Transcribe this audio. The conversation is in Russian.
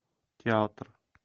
театр